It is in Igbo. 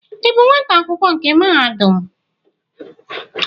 Ị bụ nwata akwụkwọ nke mahadum?